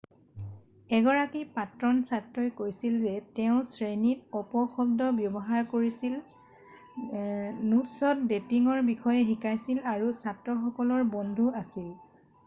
এগৰাকী প্ৰাক্তন ছাত্ৰই কৈছিল যে তেওঁ 'শ্ৰেণীত অপশব্দ ব্যৱহাৰ কৰিছিল নোটছত ডেটিঙৰ বিষয়ে শিকাইছিল আৰু ছাত্ৰসকলৰ বন্ধু আছিল।'